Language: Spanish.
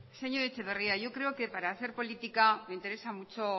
señor etxeberria yo creo que para hacer política interesa mucho